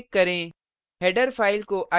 और सेव पर click करें